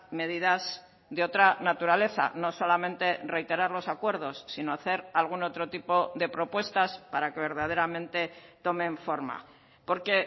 medidas de otra naturaleza no solamente reiterar los acuerdos sino hacer algún otro tipo de propuestas para que verdaderamente tomen forma porque